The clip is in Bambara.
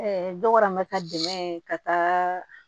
dɔk'an bɛ ka dɛmɛ ye ka taa